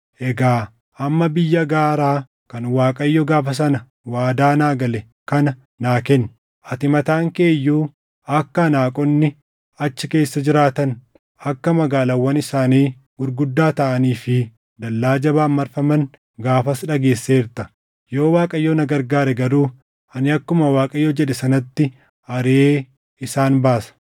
Egaa amma biyya gaaraa kan Waaqayyo gaafa sana waadaa naa gale kana naa kenni. Ati mataan kee iyyuu akka Anaaqonni achi keessa jiraatan, akka magaalaawwan isaanii gurguddaa taʼanii fi dallaa jabaan marfaman gaafas dhageesseerta; yoo Waaqayyo na gargaare garuu ani akkuma Waaqayyo jedhe sanatti ariʼee isaan baasa.”